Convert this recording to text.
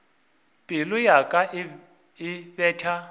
pelo ya ka e betha